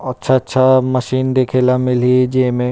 और अच्छा अच्छा मशीन देखेला मिली ही जिम ए--